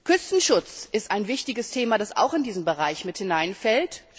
Küstenschutz ist ein wichtiges Thema, das auch in diesen Bereich mit hineinfällt.